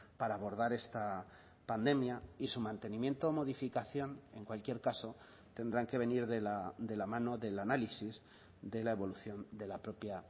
para abordar esta pandemia y su mantenimiento o modificación en cualquier caso tendrán que venir de la mano del análisis de la evolución de la propia